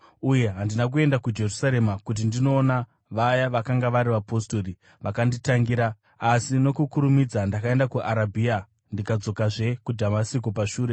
uye handina kuenda kuJerusarema kuti ndinoona vaya vakanga vari vapostori vakanditangira, asi nokukurumidza ndakaenda kuArabhia ndikazodzokazve kuDhamasiko pashure.